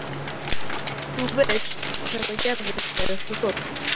Þú veist að þetta gerðist þegar þú fórst.